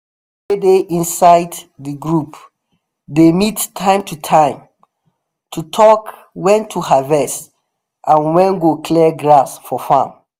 people wey dey inside the group dey meet time to time to talk when to harvest and who go clear grass for farm.